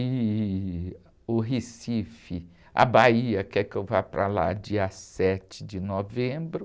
E o Recife, a Bahia quer que eu vá para lá dia sete de novembro.